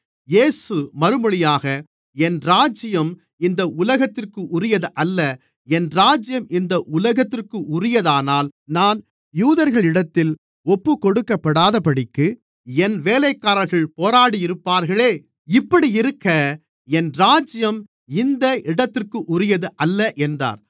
இயேசு மறுமொழியாக என் ராஜ்யம் இந்த உலகத்திற்குரியதல்ல என் ராஜ்யம் இந்த உலகத்திற்குரியதானால் நான் யூதர்களிடத்தில் ஒப்புக்கொடுக்கப்படாதபடிக்கு என் வேலைக்காரர்கள் போராடியிருப்பார்களே இப்படியிருக்க என் ராஜ்யம் இந்த இடத்திற்குரியதல்ல என்றார்